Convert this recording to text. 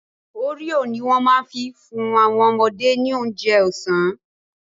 Oreo ni wọ́n ma fi fún àwọn ọmọdé ní oúnjẹ ọ̀sán